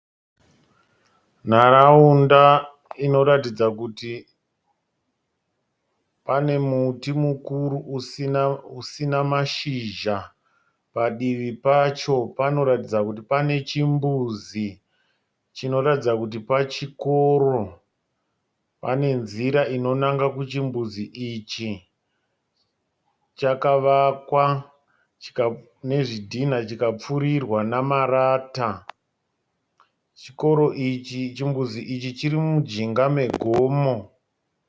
Nharaunda iroratidza kuti pane muti mukuru usina mashizha, padivi pacho panoratidza kuti pane chimbuzi chinoratidza kuti pachikoro , pane nzira inonanga kuchimbudzi ichi . Chakavakwa nezvidhina chikapfurirwa nemarata, chimbuzi ichi chiri mujinga megomo.